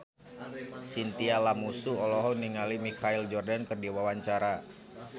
Chintya Lamusu olohok ningali Michael Jordan keur diwawancara